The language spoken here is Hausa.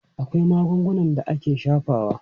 Akwai magungunan da ake shafawa.